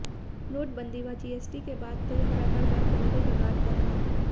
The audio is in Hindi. नोट बंदी व जीएसटी के बाद तो यह व्यापार बन्द होने के कगार पर है